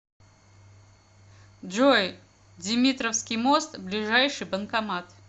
джой димитровский мост ближайший банкомат